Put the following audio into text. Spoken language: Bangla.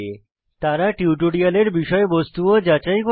তারা টিউটোরিয়ালের বিষয়বস্তু ও যাচাই করে